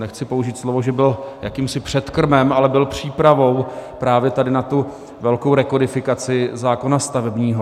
Nechci použít slovo, že byl jakýmsi předkrmem, ale byl přípravou právě tady na tu velkou rekodifikaci zákona stavebního.